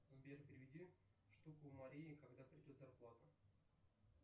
сбер переведи штуку марии когда придет зарплата